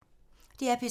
DR P3